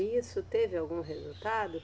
E isso teve algum resultado?